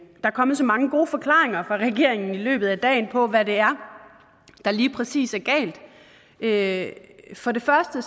er kommet så mange gode forklaringer fra regeringen i løbet af dagen på hvad der er der lige præcis er galt for det første